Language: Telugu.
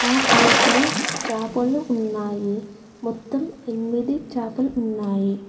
ఆ ప్లేట్ లో చాపలు ఉన్నాయి మొత్తం ఎనిమిది చాపలు ఉన్నాయి.